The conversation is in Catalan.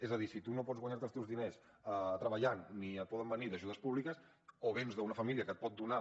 és a dir si tu no pots guanyar te els teus diners treballant ni et poden venir d’ajudes públiques o vens d’una família que et pot donar